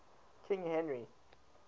king henry